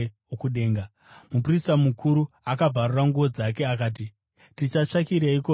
Muprista mukuru akabvarura nguo dzake, akati, “Tichatsvakireiko zvimwe zvapupu?